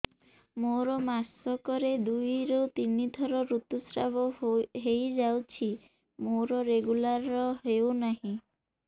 ମୋର ମାସ କ ରେ ଦୁଇ ରୁ ତିନି ଥର ଋତୁଶ୍ରାବ ହେଇଯାଉଛି ମୋର ରେଗୁଲାର ହେଉନାହିଁ